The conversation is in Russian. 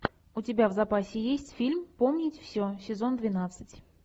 у тебя в запасе есть фильм помнить все сезон двенадцать